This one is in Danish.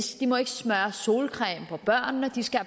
må ikke smøre solcreme på børnene de skal